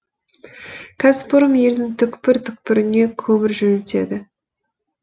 кәсіпорын елдің түкпір түкпіріне көмір жөнелтеді